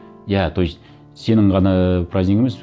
иә то есть сенің ғана ііі празднигің емес